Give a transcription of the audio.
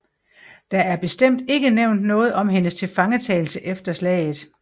Der er bestemt ikke nævnt noget om hendes tilfangetagelse efter slaget